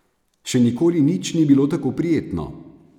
Še nikoli nič ni bilo tako prijetno.